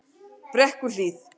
Brekkuhlíð